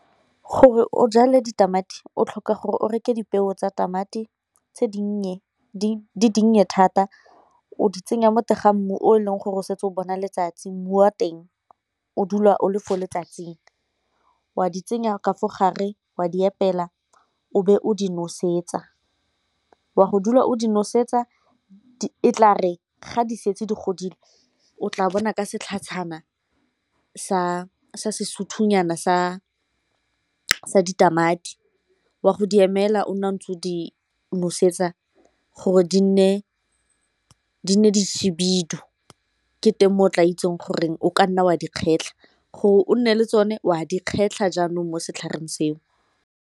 Gore o jale ditamati, o tlhoka gore o reke dipeo tsa tamati tse dinnye di dinnye thata o di tsenya mo teng ga mmu o e leng gore o setse o bona letsatsi mmu wa teng o dula o le fo letsatsing. O a di tsenya ka fa gare, wa di epela o be o di nosetsa, o a go dula o di nosetsa e tla re ga di setse di godile o tla bona ka setlhajana sa ditamati wa go di emela o ntse o di nosetsa gore di ne di shebile ke teng mo o tla itseng gore o ka nna dikgwetlho gore o nne le tsone wa di kgetlha jaanong mo setlhareng seo.